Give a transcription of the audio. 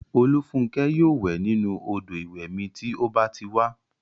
Olúfúnkẹ́ yóò wẹ̀ nínu odò ìwẹ̀ mi tí ó bá ti wá